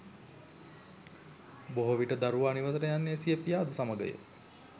බොහෝ විට දරුවා නිවසට යන්නේ සිය පියාද සමගය